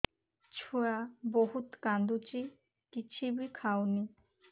ଛୁଆ ବହୁତ୍ କାନ୍ଦୁଚି କିଛିବି ଖାଉନି